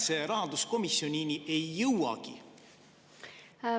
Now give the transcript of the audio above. … mis üldse rahanduskomisjonini ei jõuagi?